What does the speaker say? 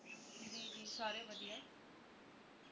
ਜੀ ਜੀ ਸਾਰੇ ਵਧੀਆ